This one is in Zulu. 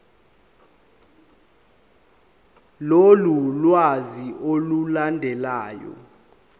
lolu lwazi olulandelayo